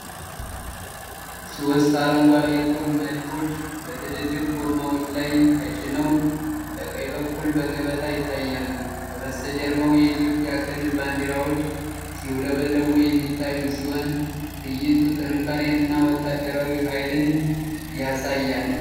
ሦስት አረንጓዴ የጦር መድፎች በትልልቅ ጎማዎች ላይ ተጭነው በቀኝ በኩል በገበታ ይታያሉ። ከበስተጀርባው የኢትዮጵያ ክልል ባንዲራዎች ሲውለበለቡ የሚታዩ ሲሆን፣ ትዕይንቱ ጥንካሬንና ወታደራዊ ኃይልን ያሳያል።